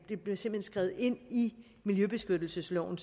skrevet ind i miljøbeskyttelsesloven